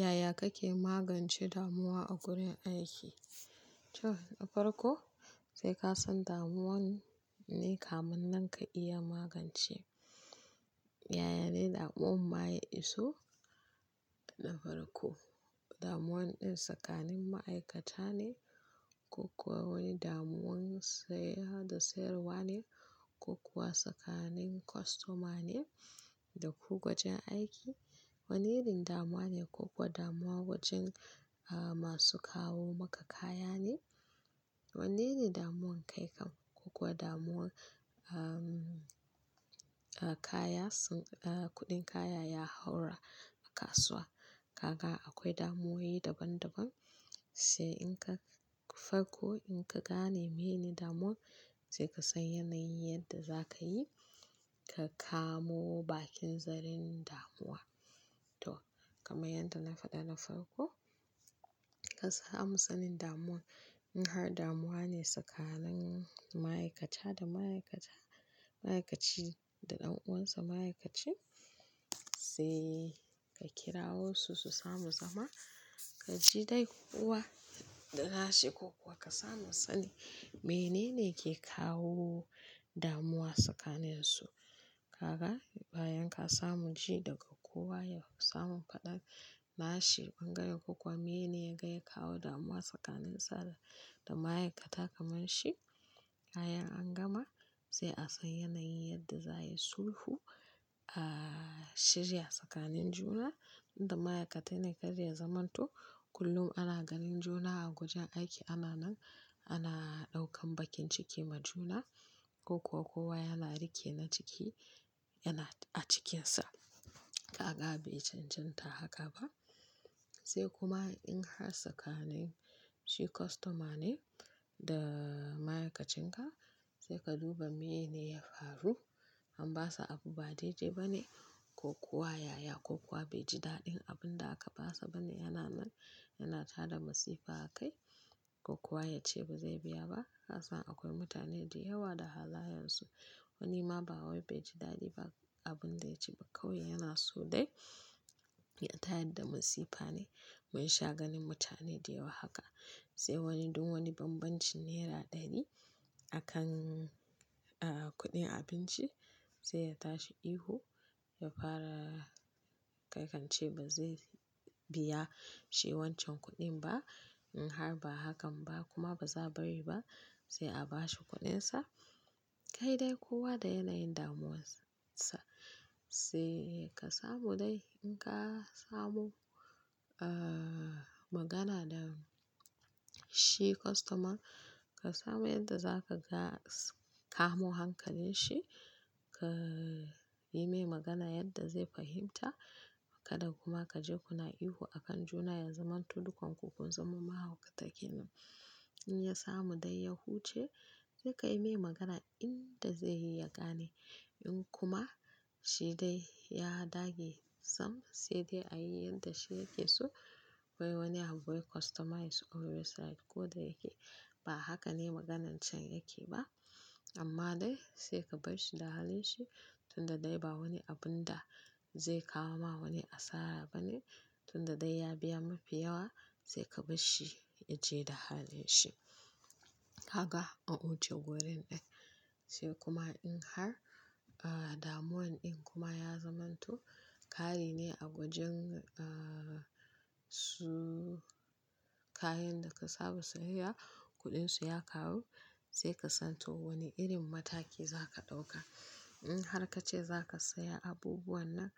Yaya kake magance damuwa a wurin aiki? To farko sai ka san damuwa wanne ne kamin nan ka iya magance. Yaya ne damuwa maye iso? Na farko damuwa ɗin tsakanin ma'aikata ne, ko kuwa wani damuwan sayar da sayarwa ne ko kuwa tsakanin kostoma ne da kuka wajen aiki. Wanne irin damuwa ne ko kuwa damuwa wajen masu kawo maka kaya ne? Wanne ne damuwan kai kan kuwa damuwan kaya sun kuɗin kaya ya haura a kasuwa. Kaka akwai damuwaye daban-daban sai in ka farko in ka gane mene damuwan sai ka san yanayin yadda za ka yi ka kamo bakin zaren damuwa. To, kamar yadda na faɗa na farko ka samu sanin damuwan. In har damuwa ne tsakanin ma'aikata da ma'aikata ma'aikaci da ɗan uwansa ma'aikaci sai ka kirawo su su samu zama ka ji dai kowa da nashi ko kuwa ka samu sani menene ke kawo damuwa tsakanin su. Kaka bayan ka samu ji daga kowa ya samu faɗa nashi bangaren ko kuwa menene ya kai ya kawo damuwa tsakanin sa da ma'aikata kamar shi. Kayan an gama sai a san yanayin yadda za a yi sulhu a shirya tsakanin juna. Inda ma'aikatai ne kaɗai ya zamanto kullum ana ganin juna a wajen aiki ana nan ana ɗaukan bakin ciki ma juna ko kuwa kowa yana rike na ciki yana a cikinsa. Kaka bai chanchanta haka ba sai kuma in har tsakanin shi customer ne da ma'aikacin ka sai ka duba menene ya faru. An basa abu ba daidai ba ne ko kuwa yaya ko kuwa bai ji daɗin abun da aka basa ba ne yana nan yana tada masifa a kai ko kuwa ya ce ba zai biya ba. Ka san akwai mutane da yawa da halayensu. Wani ma ba wai bai ji daɗi ba abun da ya ci kauye yana so dai ya tayar da masifa ne. Mun sha ganin mutane da yawa haka sai wani dun wani banbancin naira ɗaya ne a kan kuɗin abinci sai ya tashi ihu ya fara kai kan ce ba zai biya shi wancan kuɗin ba. In har ba hakan ba kuma ba za bari ba sai a bashi kuɗinsa. Kai dai kowa da yanayin damuwarsa sai ka samu dai in ka samu magana da shi kostoma ka samu yadda za ka kamo hankalin shi ka yi mai magana yadda zai fahimta kaɗa kuma ka je kuna ihu a kan juna ya zamanto dukan ku kun zama mahaukatakenan. In ya samu dai ya huce sai ka yi mai magana inda zai iya gane in kuma shi dai ya dage sam sai dai a yi yadda shi yake so. Wai wani abu bai kostomai sai ko da yake ba haka ne maganar can yake ba amma dai sai ka bar shi da halin shi tunda dai ba wani abun da zai kawo ma wani asara ba ne tunda dai ya biya mafi yawa sai ka bar shi ya je da halin shi. Kaka an wuce wurin dai sai kuma in har damuwan ɗin kuma ya zamanto kare ne a wajen su kayan da ka saba saya kuɗinsu ya kawu sai ka san to wani irin mataki za ka ɗauka. In har ka ce za ka saya abubuwan nan